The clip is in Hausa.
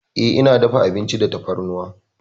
Eh, ina dafa abinci da tafarnuwa.